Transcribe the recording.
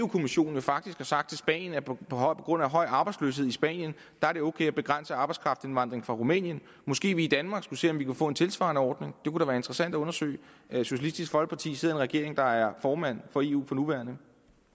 kommissionen faktisk har sagt til spanien at på grund af høj arbejdsløshed i spanien er det ok at begrænse arbejdskraftindvandring fra rumænien måske vi i danmark skulle se om vi kunne få en tilsvarende ordning det kunne da være interessant at undersøge socialistisk folkeparti sidder i en regering der er formand for eu for nuværende